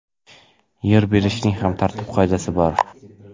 Yer berishning ham tartib-qoidasi bor.